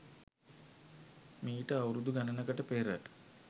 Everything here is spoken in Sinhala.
මීට අවුරුදු ගණනකට පෙර